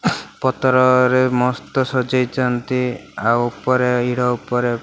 ପତରରେ ମସ୍ତ ସଜେଇଚନ୍ତି ଆଉ ଉପରେ ହିଡ଼ ଉପରେ --